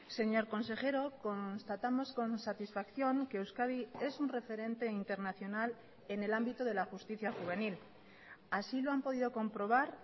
señor consejero constatamos con satisfacción que euskadi es un referente internacional en el ámbito de la justicia juvenil así lo han podido comprobar